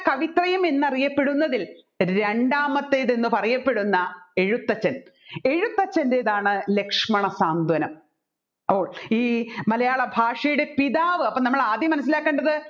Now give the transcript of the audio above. കവിത്രയം എന്നറിയപ്പെടുന്നതത്തിൽ രണ്ടാമത്തേതെന്ന് പറയപ്പെടുന്ന എഴുത്തച്ഛൻ എഴുത്തച്ഛൻറെതാണ് ലക്ഷ്മണ സ്വാന്തനം അപ്പോൾ ഈ മലയാളഭാഷയുടെ പിതാവ് അപ്പോ നമ്മൾ ആദ്യം മനസ്സിലാക്കേണ്ടത്